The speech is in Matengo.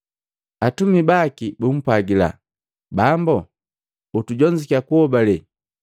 Atumi baki bumpwagila Bambu, “Utujonzukya kuhobale.”